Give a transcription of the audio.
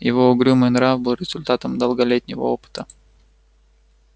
его угрюмый нрав был результатом долголетнего опыта